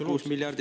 Absoluutselt!